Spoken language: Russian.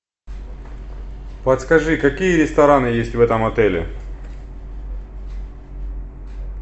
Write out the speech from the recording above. подскажи какие рестораны есть в этом отеле